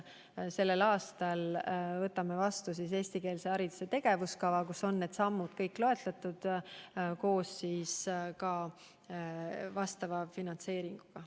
Selle aasta novembris võtame vastu eestikeelse hariduse tegevuskava, kus on loetletud kõik need sammud koos vastava finantseeringuga.